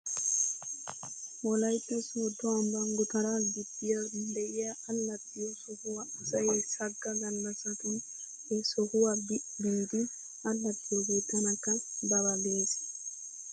Wolaytta soodo ambban gutaraa gibbiya de'iyaa allaxxiyoo sohuwaa asay sagga gallasatun he sohuwaa bi biidi allaxxiyoogee tanakka ba ba ges.